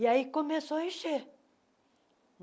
E aí começou a encher.